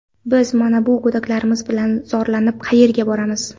Biz mana bu go‘daklarimiz bilan zorlanib qayerga boramiz.